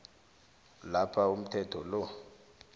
lapha umthetho lo